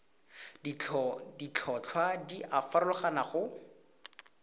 ditlhotlhwa di a farologana go